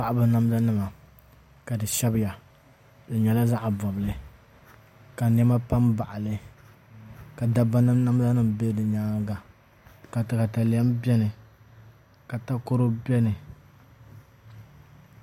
Paɣaba namda nima ka di shɛbiya di nyɛla zaɣ bobli ka niɛma pa n baɣali ka dabba namda nim bɛ di nyanga ka katalɛm biɛni ka takoro biɛni